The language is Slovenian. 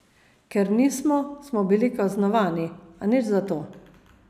Ker nismo, smo bili kaznovani, a nič zato.